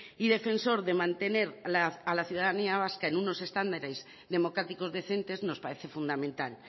y defensor de mantener a la ciudadanía vasca en unos estándares democráticos decentes nos parece fundamental